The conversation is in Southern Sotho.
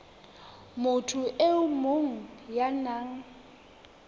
motho e mong ya nang